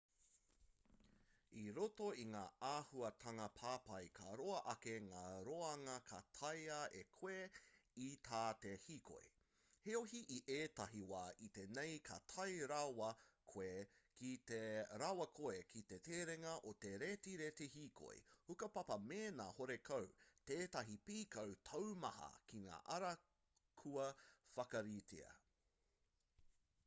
i roto i ngā āhuatanga papai ka roa ake ngā roanga ka taea e koe i tā te hīkoi heoi i ētahi wā iti nei ka tae rawa koe ki te terenga o te retireti hīkoi hukapapa mēnā horekau tētahi pīkau taumaha ki ngā ara kua whakaritea